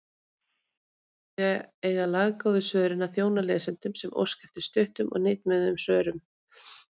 Í staðinn eiga laggóðu svörin að þjóna lesendum sem óska eftir stuttum og hnitmiðuðum svörum.